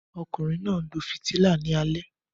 Ọkunrin naa nlo fitila ni alẹ